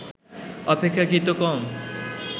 অপেক্ষাকৃত কম